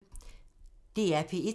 DR P1